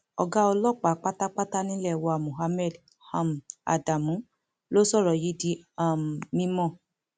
ọgá ọlọpàá pátápátá nílé wa muhammed um adamu ló sọrọ yìí di um mímọ